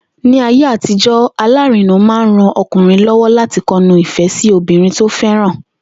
Ní ayé àtijó̩, alárinà máa ń ran o̩kùnrin ló̩wó̩ láti ko̩nu ìfé̩ sí obìnrin tó fé̩ràn